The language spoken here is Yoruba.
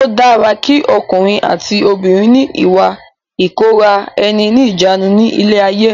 Ó dára ki ọkùnrin àti obìnrin ni ìwà ìkóra ẹni níjàánu ni ilé ayé.